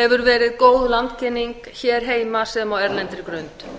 hefur verið góð landkynning hér heima sem á erlendri grund